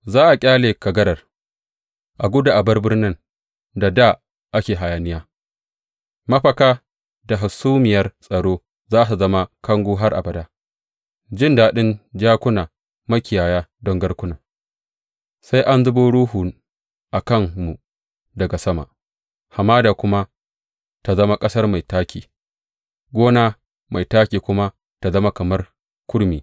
Za a ƙyale kagarar, a gudu a bar birnin da dā ake hayaniya; mafaka da hasumiyar tsaro za su zama kango har abada, jin daɗin jakuna, makiyaya don garkuna, sai an zubo Ruhu a kanmu daga sama, hamada kuma ta zama ƙasar mai taƙi, gona mai taƙi kuma ta zama kamar kurmi.